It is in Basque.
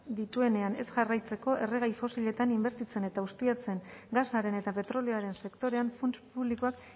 dituenean ez jarraitzeko erregai fosiletan inbertitzen eta ustiatzen gasaren eta petrolioaren sektorean funts publikoak